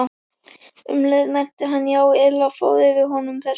Um leið mælti hann: Já, illa fór fyrir honum þessum